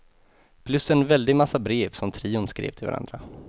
Plus en väldig massa brev som trion skrev till varandra.